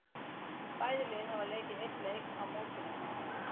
Bæði lið hafa leikið einn leik í mótinu.